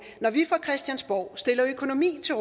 når vi fra christiansborg stiller økonomi til